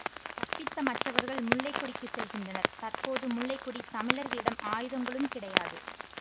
தப்பித்த மற்றவர்கள் முல்லைக்கொடிக்கு செல்கின்றனர் தற்போது முல்லை கொடி தமிழர்களிடம் ஆயுதங்களும் கிடையாது